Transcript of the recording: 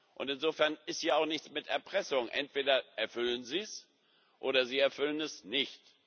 Und insofern ist hier auch nichts mit Erpressung entweder erfüllen sie es, oder sie erfüllen es nicht.